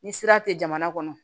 Ni sira tɛ jamana kɔnɔ